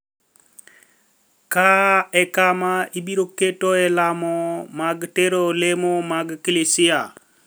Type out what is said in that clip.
Ka e kama abiro ketoe lamo mag tero lemo mag klisia.